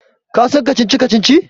Ka san kacici-kacici?